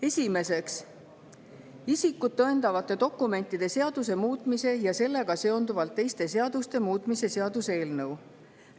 Esiteks, isikut tõendavate dokumentide seaduse muutmise ja sellega seonduvalt teiste seaduste muutmise seaduse eelnõu.